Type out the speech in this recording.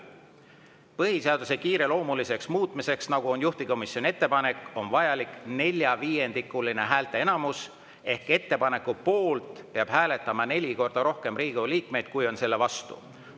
Põhiseaduse kiireloomuliseks muutmiseks, nagu on juhtivkomisjoni ettepanek, on vajalik neljaviiendikuline häälteenamus ehk ettepaneku poolt peab hääletama neli korda rohkem Riigikogu liikmeid kui selle vastu.